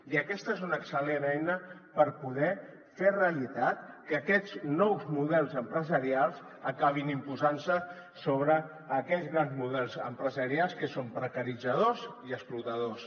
i aquesta és una excel·lent eina per poder fer realitat que aquests nous models empresarials acabin imposant se sobre aquests grans models empresarials que són precaritzadors i explotadors